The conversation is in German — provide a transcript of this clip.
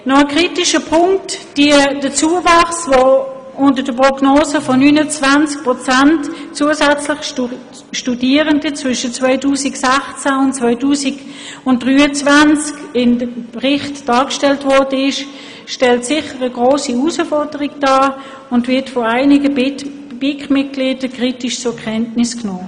Noch ein kritischer Punkt: Der Zuwachs von 29 Prozent zusätzlicher Studierender zwischen 2016 und 2023, wie er im Bericht in der Prognose aufgeführt wird, stellt sicher eine grosse Herausforderung dar und wird von einigen BiKMitgliedern kritisch zur Kenntnis genommen.